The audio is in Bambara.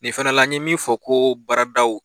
Nin fana la n ye min fɔ ko baaradaw